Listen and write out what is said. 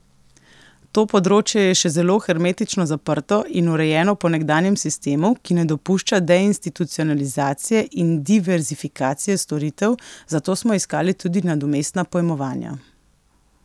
To področje je še zelo hermetično zaprto in urejeno po nekdanjem sistemu, ki ne dopušča deinstitucionalizacije in diverzifikacije storitev, zato smo iskali tudi nadomestna pojmovanja.